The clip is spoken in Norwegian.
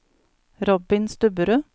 Robin Stubberud